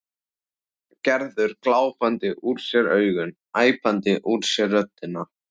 Gerður glápandi úr sér augun, æpandi úr sér röddina.